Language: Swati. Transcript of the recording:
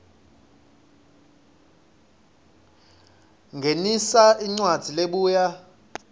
ngenisa incwadzi lebuya